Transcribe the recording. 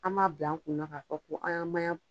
An b'a bila an kun na ka fɔ ko an ya maɲan